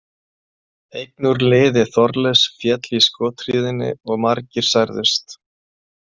Einn úr liði Þorleifs féll í skothríðinni og margir særðust.